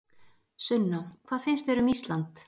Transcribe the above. Sunna: Hvað finnst þér um Ísland?